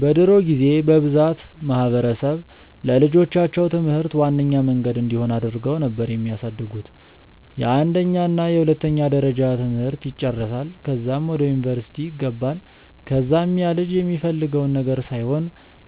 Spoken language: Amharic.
በድሮ ጊዜ በብዛት ማህበረሰብ ለልጆቻቸው ትምህርት ዋነኛ መንገድ እንዲሆን አድርገው ነበር የሚያሳድጉት፤ የአንደኛ እና የሁለተኛ ደረጃ ትምህርት ይጨረሳል ከዛም ወደ ዩኒቨርስቲ ይገባል ከዛም ያልጅ የሚፈልገውን ነገር ሳይሆን